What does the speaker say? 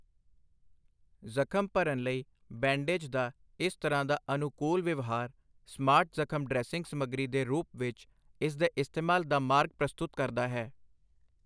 ਜ਼ਖ਼ਮ ਭਰਨ ਲਈ ਬੈਂਡੇਜ ਦਾ ਇਸ ਤਰ੍ਹਾਂ ਦਾ ਅਨੁਕੂਲ ਵਿਵਹਾਰ ਸਮਾਰਟ ਜਖ਼ਮ ਡ੍ਰੈਸਿੰਗ ਸਮੱਗਰੀ ਦੇ ਰੂਪ ਵਿੱਚ, ਇਸ ਦੇ ਇਸਤੇਮਾਲ ਦਾ ਮਾਰਗ ਪ੍ਰਸ਼ਤੁਤ ਕਰਦਾ ਹੈ।